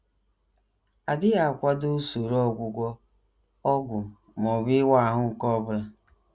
adịghị akwado usoro ọgwụgwọ, ọgwụ, ma ọ bụ ịwa ahụ nke ọ bụla.